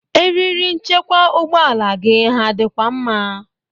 Eriri nchekwa ụgbọala gi ha dịkwa mma?